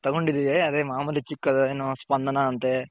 ತಗೊಂಡ್ ಇದಿವಿ ಅದೇ ಮಾಮೂಲಿ ಚಿಕ್ಕ್ ಸ್ಪಂದನ ಅಂತೆ